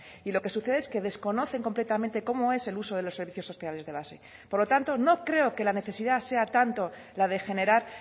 y lo que sucede es que desconocen completamente cómo es el uso de los servicios sociales de base por lo tanto no creo que la necesidad sea tanto la de generar